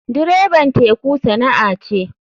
Dreban teku sana'a ce.